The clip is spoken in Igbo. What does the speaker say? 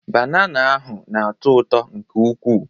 Banana ahụ na-atọ ụtọ nke ukwuu.